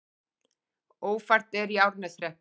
Ófært er í Árneshreppi